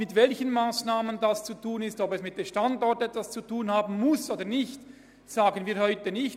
Mit welchen Massnahmen dies zu erreichen ist, und ob es mit dem Standort etwas zu tun haben muss oder nicht, sagen wir heute nicht.